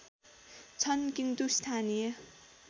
छन् किन्तु स्थानीय